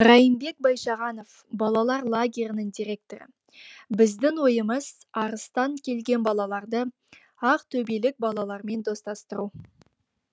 райымбек байшағанов балалар лагерінің директоры біздің ойымыз арыстан келген балаларды ақтөбелік балалармен достастыру